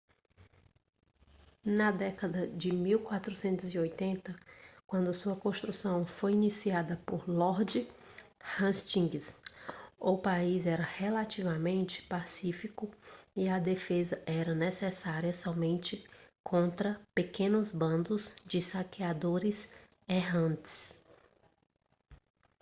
na década de 1480 quando sua construção foi iniciada por lord hastings o país era relativamente pacífico e a defesa era necessária somente contra pequenos bandos de saqueadores errantes